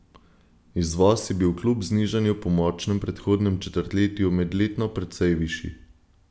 Izvoz je bil kljub znižanju po močnem predhodnem četrtletju medletno precej višji.